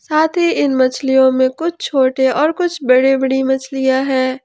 साथ ही इन मछलियों में कुछ छोटे और कुछ बड़े बड़ी मछलियां है।